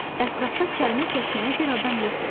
Ətrafda kəlmə kəsməyə bir adam yox idi.